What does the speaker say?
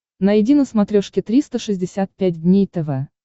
найди на смотрешке триста шестьдесят пять дней тв